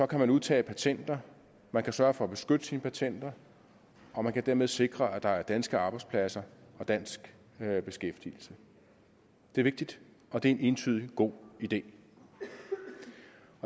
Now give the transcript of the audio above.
kan man udtage patenter man kan sørge for at beskytte sine patenter og man kan dermed sikre at der er danske arbejdspladser og dansk beskæftigelse det er vigtigt og det er entydigt en god idé